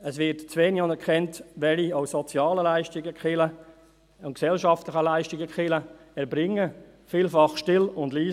Es würde zu wenig anerkannt, welche sozialen und gesellschaftlichen Leistungen die Kirchen erbringen, vielfach still und leise.